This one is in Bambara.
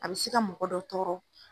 A bi se ka mɔgɔ dɔ tɔɔrɔ.